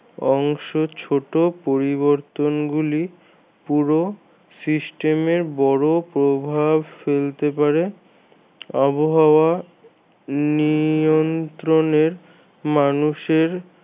অংশ একটি ছোট পরিবর্তন গুলি পুরো system এর বড় প্রভাব ফেলতে পারে আবহাওয়া নিয়ন্ত্রনের মানুষের